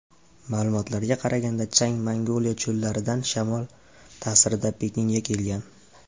Ma’lumotlarga qaraganda chang Mongoliya cho‘llaridan shamol ta’sirida Pekinga kelgan.